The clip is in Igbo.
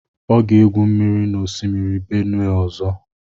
Ọ ga-egwu mmiri n'osimiri Benue ọzọ.